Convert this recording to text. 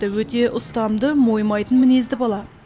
өте ұстамды мойымайтын мінезді бала